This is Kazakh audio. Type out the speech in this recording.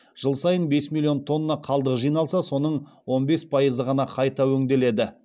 жыл сайын бес миллион тонна қалдық жиналса соның он бес пайызы ғана қайта өңделеді